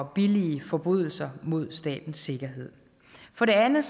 billige forbrydelser mod statens sikkerhed for det andet